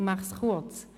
Ich fasse mich kurz.